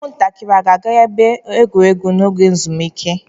Ụmụntakịrị a ga-aga ebe egwuregwu n'oge ezumike?